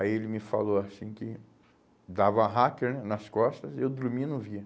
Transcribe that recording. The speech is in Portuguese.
Aí ele me falou assim que dava raqui né, nas costas e eu dormia e não via.